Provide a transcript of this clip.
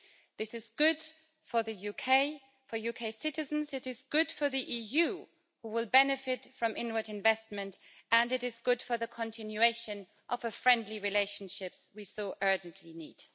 This is good for the UK, for UK citizens, it is good for the EU, who will benefit from inward investment, and it is good for the continuation of a friendly relationship we so urgently need.